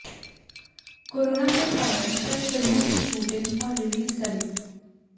corona के कारण कई फिल्मों की शूटिंग और रिलीज टली